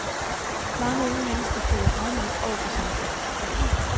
Mange unge mennesker føler afmagt over for samfundet.